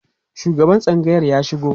shugaban tsangayar ya shigo